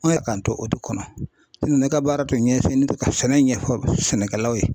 k'an to o de kɔnɔ ne ka baara tun ɲɛsinnen do ka sɛnɛ ɲɛfɔ sɛnɛkɛlaw ye.